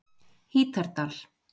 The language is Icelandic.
Hítardal